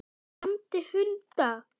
Hann lamdi hunda